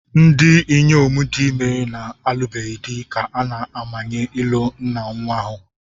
Ndị inyom dị ime na-alụbeghị di ka a na-amanye ịlụ nna nnwa ahụ.